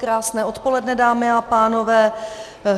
Krásné odpoledne, dámy a pánové.